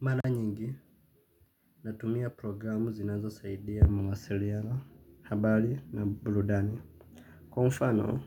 Mara nyingi natumia programu zinazo saidia mawasiliano, habari na burudani. Kwa mfano,